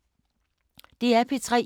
DR P3